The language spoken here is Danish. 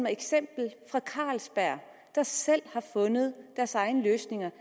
eksempel fra carlsberg der selv har fundet deres egne løsninger